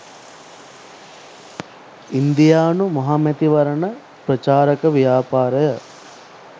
ඉන්දියානු මහමැතිවරණ ප්‍රචාරක ව්‍යාපාරය